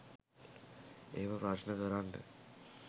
එහෙම ප්‍රශ්න කරන්න.